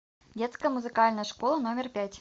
детская музыкальная школа номер пять